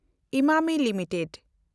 Emami limited